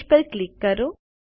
page પર click કરો